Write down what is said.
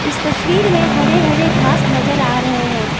इस तस्वीर में हरे हरे घास नजर आ रहे हैं।